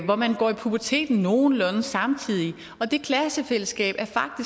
hvor man går i puberteten nogenlunde samtidig og det klassefællesskab